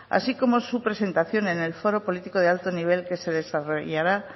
así como su presentación en el foro político de alto nivel que se desarrollará